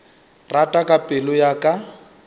rata ka pelo ya ka